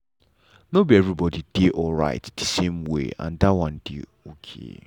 nor be everybody dey dey alright the same way and that one dey okay.